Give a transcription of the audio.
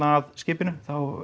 að skipinu